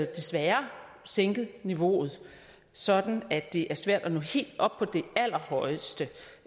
desværre sænket niveauet sådan at det er svært at nå helt op på det allerhøjeste